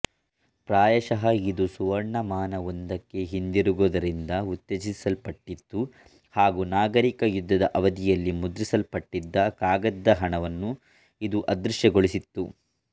ಪ್ರಾಯಶಃ ಇದು ಸುವರ್ಣಮಾನವೊಂದಕ್ಕೆ ಹಿಂದಿರುಗುವುದರಿಂದ ಉತ್ತೇಜಿಸಲ್ಪಟ್ಟಿತ್ತು ಹಾಗೂ ನಾಗರಿಕ ಯುದ್ಧದ ಅವಧಿಯಲ್ಲಿ ಮುದ್ರಿಸಲ್ಪಟ್ಟಿದ್ದ ಕಾಗದದ ಹಣವನ್ನು ಇದು ಅದೃಶ್ಯಗೊಳಿಸಿತ್ತು